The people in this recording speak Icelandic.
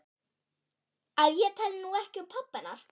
Að ég tali nú ekki um pabba hennar.